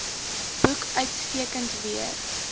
boek uitstekend weer